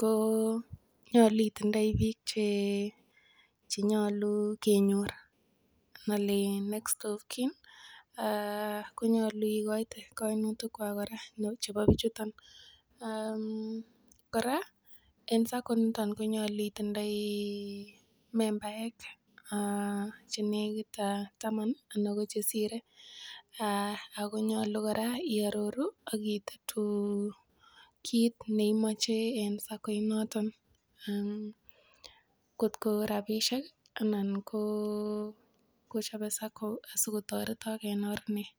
ko nyolu itindoi biik che nyolu kenyor. Nnole iin next of kin konyolu igoite kainutikwak kora lagok chebo bichuto. Kora en SACCO inito konyolu itindoi membaek che negit taman anan ko chesire ago nyolu kora iaroru ak itetu kit neimoche en SACCO inoto kotko rabishek anan ko kochope SACCO asikotoretok en or nee?